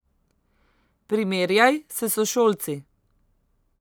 Primerjaj s sošolci.